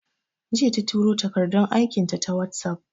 Jiya ta turo takardun aikin ta WhatsApp